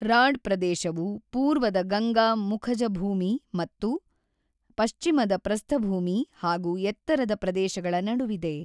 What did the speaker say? Rod ಪ್ರದೇಶವು ಪೂರ್ವದ ಗಂಗಾ ಮುಖಜಭೂಮಿ ಮತ್ತು ಪಶ್ಚಿಮದ ಪ್ರಸ್ಥಭೂಮಿ ಹಾಗು ಎತ್ತರದ ಪ್ರದೇಶಗಳ ನಡುವಿದೆ.